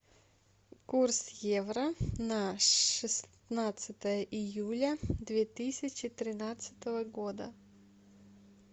курс евро на шестнадцатое июля две тысячи тринадцатого года